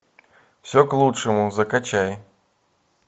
все к лучшему закачай